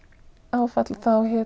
áfall